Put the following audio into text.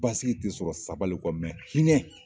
Basigi tɛ sɔrɔ sabali kɔ hinɛ.